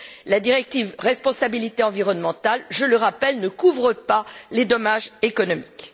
La directive responsabilité environnementale, je le rappelle, ne couvre pas les dommages économiques.